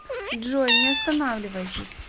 джой не останавливайтесь